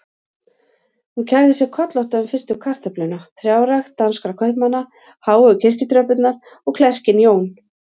Hún kærði sig kollótta um fyrstu kartöfluna, trjárækt danskra kaupmanna, háu kirkjutröppurnar og klerkinn Jón